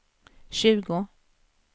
tjugo